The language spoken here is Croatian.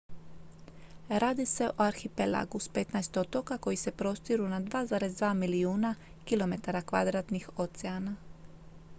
radi se o arhipelagu s 15 otoka koji se prostiru na 2,2 milijuna km2 oceana